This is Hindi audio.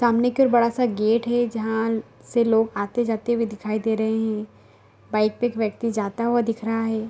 सामने की ओर बड़ा सा गेट है जहां से लोग आते जाते हुए दिखाई दे रहे है बाइक पे एक व्यक्ति जाता हुआ दिख रहा है।